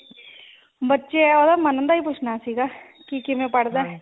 ਬੱਚੇ ਉਹਦਾ ਮਨੂ ਦਾ ਹੀ ਪੁੱਛਣਾ ਸੀਗਾ ਕਿ ਕਿਵੇਂ ਪੜ੍ਹਦਾ